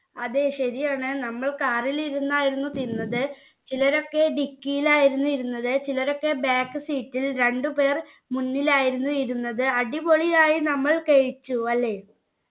അതെ ശരിയാണ് നമ്മൾ car ൽ ഇരുന്നായിരുന്നു തിന്നത് ചിലരൊക്കെ dicky ലായിരുന്നു ഇരുന്നത് ചിലരൊക്കെ back seat ൽ രണ്ടു പേർ മുന്നിലായിരുന്നു ഇരുന്നത് അടിപൊളിയായി നമ്മൾ കഴിച്ചു അല്ലെ